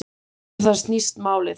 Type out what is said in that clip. Um það snýst málið